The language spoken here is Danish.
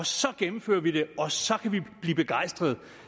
så gennemfører vi det og så kan vi blive begejstrede